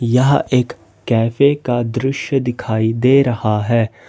यहां एक कैफे का दृश्य दिखाई दे रहा है।